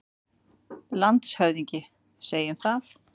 LANDSHÖFÐINGI: Segjum það.